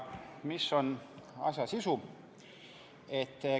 Mis on asja sisu?